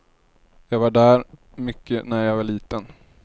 Jag var där mycket när jag var liten.